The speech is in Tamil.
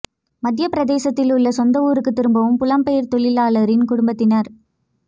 மத்தியப் பிரதேசத்தில் உள்ள சொந்த ஊருக்குத் திரும்பும் புலம்பெயர் தொழிலாளரின் குடும்பத்தினர்